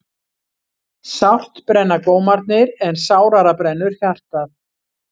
Sárt brenna gómarnir en sárara brennur hjartað.